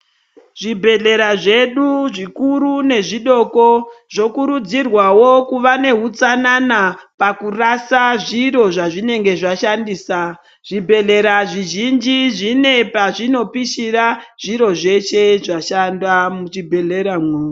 Zvibhedhlera zvedu zvikuru nezvidoko zvokurudzirwawo kuva nehutsanana pakurasa zviro zvazvinenge zvashandisa, zvibhedhlera zvizhinji zvine pazvinopishira zviro zveshe zvashanda muchibhedhlera mwo.